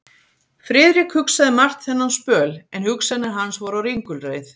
Friðrik hugsaði margt þennan spöl, en hugsanir hans voru á ringulreið.